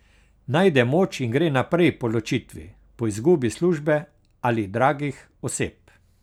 Najde moč in gre naprej po ločitvi, po izgubi službe ali dragih oseb.